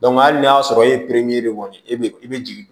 hali n'a y'a sɔrɔ e ye kɔni ye i bɛ jigin